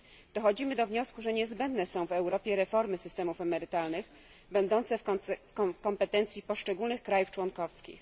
Dochodzimy do wniosku, że niezbędne są w Europie reformy systemów emerytalnych będące w kompetencji poszczególnych krajów członkowskich.